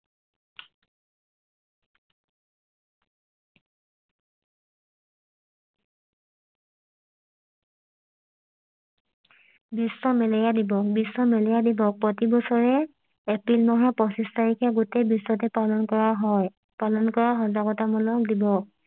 বিশ্ব malaria দিৱস বিশ্ব malaria দিৱস প্ৰতি বছৰে এপ্ৰিল মাহৰ পঁচিছ তাৰিখে গোটেই বিশ্বতে পালন কৰা হয় পালন কৰা সজাগতা মূলক দিৱস